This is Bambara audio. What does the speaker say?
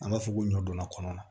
An b'a fɔ ko ɲɔ donna kɔnɔ na